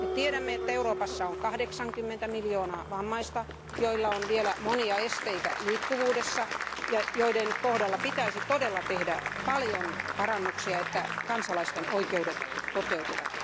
Me tiedämme, että Euroopassa on 80 miljoonaa vammaista, joilla on vielä monia esteitä liikkuvuudessa ja joiden kohdalla pitäisi todella tehdä paljon parannuksia, jotta kansalaisten oikeudet toteutuvat.